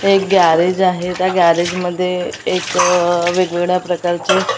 एक गॅरेज आहे त्या गॅरेजमध्ये एक आह वेगवेगळ्या प्रकारचे --